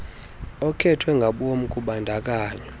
okhethwe ngabom kubandakanyo